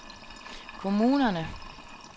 kommunerne